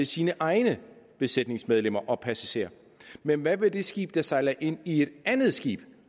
sine egne besætningsmedlemmer og passagerer men hvad med det skib der sejler ind i et andet skib